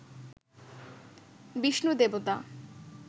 বিষ্ণু দেবতা